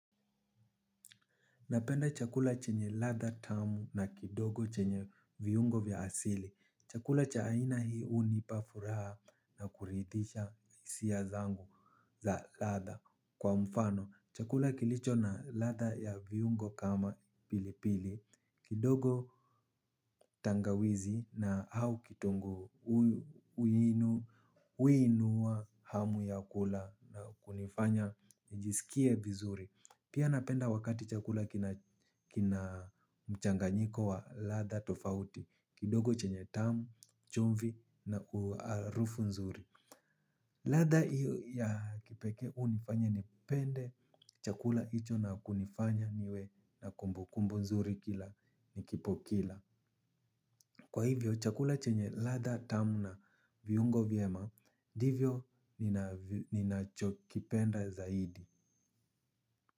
Napenda chakula chenye ladha tamu na kidogo chenye viungo vya asili. Chakula cha aina hii hunipa furaha na kuridhisha hisia zangu za ladha kwa mfano. Chakula kilicho na ladha ya viungo kama pilipili kidogo tangawizi na au kitunguu huinua hamu ya kula na kunifanya nijisikie vizuri. Pia napenda wakati chakula kina mchanganyiko wa ladha tofauti kidogo chenye tamu, chumvi na harufu nzuri. Ladha hii ya kipekee hunifanya nipende chakula hicho na kunifanya niwe na kumbukumbu nzuri kila nikipo kila. Kwa hivyo chakula chenye ladha tamu na viungo vyema ndivyo ninachokipenda zaidi.